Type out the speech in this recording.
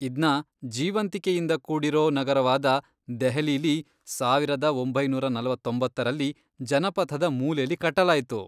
ಇದ್ನ ಜೀವಂತಿಕೆಯಿಂದ ಕೂಡಿರೋ ನಗರವಾದ ದೆಹಲಿಲಿ ಸಾವಿರದ ಒಂಬೈನೂರ ನಲವತ್ತೊಂಬತ್ತರಲ್ಲಿ ಜನಪಥದ ಮೂಲೆಲಿ ಕಟ್ಟಲಾಯ್ತು.